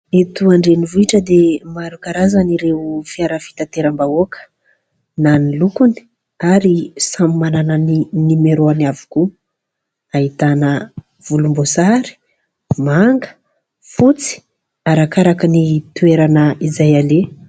Eto andrenivohitra dia maro karazana ireo fiara fitateram-bahoaka na ny lokony ary samy manana ny nomeraony avokoa. Ahitana volomboasary, manga, fotsy arakaraka ny toerana izay aleha.